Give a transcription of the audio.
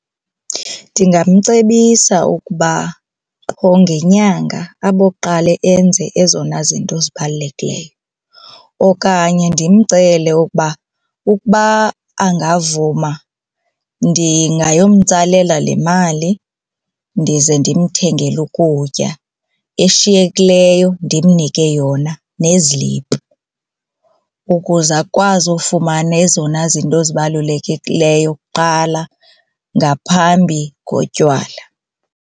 Ndingamcebisa ukuba qho ngenyanga aboqale enze ezona zinto zibalulekileyo okanye ndimcele ukuba ukuba angavuma ndingayomtsalela le mali ndize ndimthengele ukutya. Eshiyekileyo ndimnike yona neziliphu ukuze akwazi ufumana ezona zinto zibalulekileyo kuqala ngaphambi kotywala.